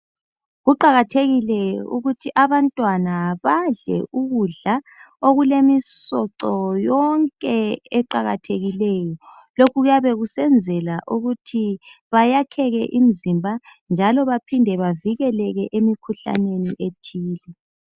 Kuqakathekile ukuthi abantwana badle ukudla okulemisoco yonke eqakathekileyo. Lokhu kuyabe kusenzelwa ukuthi beyakheke imizimba njalo baphinde bavikeleke emikhuhlaneni ethile